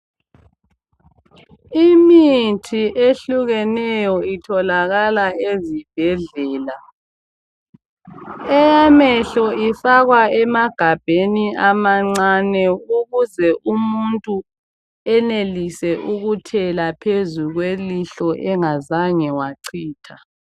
imithi ehlukeneyo itholakala ezibhedlela eyamehlo ifakwa emagabheni amancane ukuze umuntu enelise ukuthela elihlweni engazange wacitha.